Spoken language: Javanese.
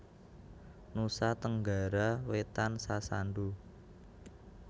Nusa Tenggara Wétan Sasando